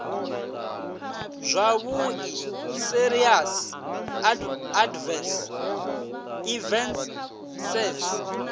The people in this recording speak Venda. zwavhui serious adverse events saes